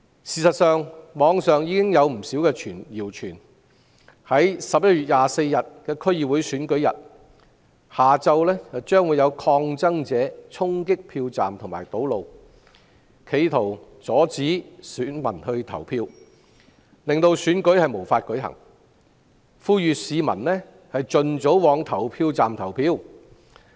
事實上，網上有不少謠傳，在11月24日的區議會選舉日下午，有抗爭者會衝擊票站和堵路，企圖阻止選民投票，令選舉無法舉行，呼籲市民盡早往投票站投票。